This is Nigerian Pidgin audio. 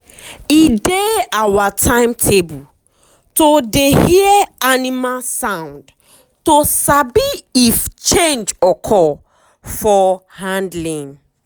e dey our timetable to dey hear animal sound to sabi if change occur for handling.